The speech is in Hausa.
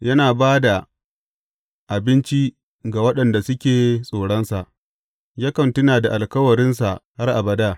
Yana ba da abinci ga waɗanda suke tsoronsa; yakan tuna da alkawarinsa har abada.